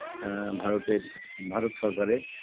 আ ভারতের ভারত সরকারের